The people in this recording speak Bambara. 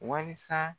Wasa